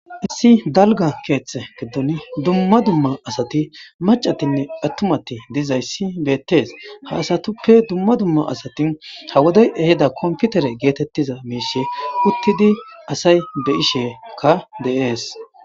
Issi dalga keethe giddon dumma dumma asati macatinne atumati dizaysi betes,ha asatappe dumma dumma asati ha wodey ehida computere getetiza mishe utidi asayi be'asheka de'esi.